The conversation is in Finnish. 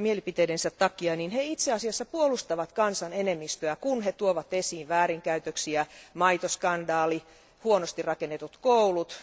mielipiteidensä takia, itse asiassa puolustavat kansan enemmistöä, kun he tuovat esiin väärinkäytöksiä maitoskandaali, huonosti rakennetut koulut